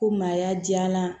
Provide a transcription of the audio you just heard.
Ko maaya diyala